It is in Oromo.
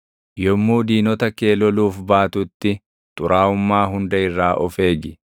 Yommuu diinota kee loluuf baatutti xuraaʼummaa hunda irraa of eegi.